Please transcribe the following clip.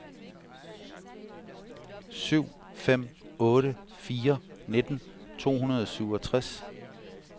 syv fem otte fire nitten to hundrede og syvogtres